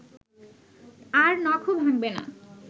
আর নখও ভাঙবে না